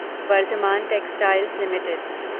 Varthaman textiles limited